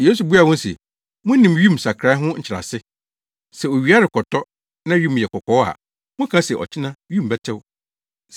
Yesu buaa wɔn se, “Munim wim nsakrae ho nkyerɛase. Sɛ owia rekɔtɔ, na wim yɛ kɔkɔɔ a, moka se ɔkyena wim bɛtew.